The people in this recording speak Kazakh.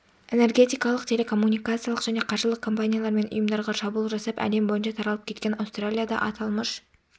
энергетикалық телекоммуникациялық және қаржылық компаниялар мен ұйымдарға шабуыл жасап әлем бойынша таралып кеткен аустралияда атылмыш